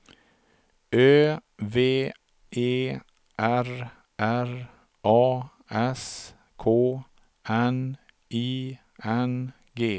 Ö V E R R A S K N I N G